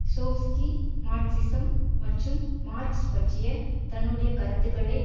Chomsky Marxism மற்றும் Marx பற்றிய தன்னுடைய கருத்துக்களைப்